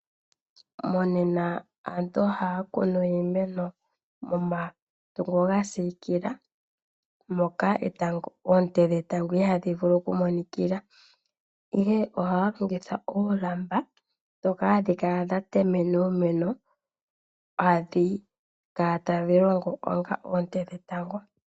Monena aantu ohaya kunu iimeno momatungo ga siikila moka oonte dhetango ihadhi vulu oku monikila ihe ohaya longitha oolamba ndhoka hadhi kala dha temena uumeno hadhi kala tadhi longo onga oonte dhetango.